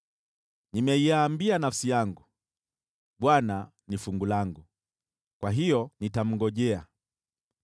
Nimeiambia nafsi yangu, “ Bwana ni fungu langu, kwa hiyo nitamngojea.”